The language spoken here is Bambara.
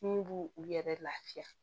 Mun b'u u yɛrɛ lafiya